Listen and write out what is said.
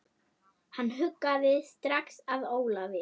Hann hugaði strax að Ólafi.